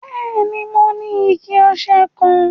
Bẹẹni, mò ní ìkẹ̀-ọṣẹ kan.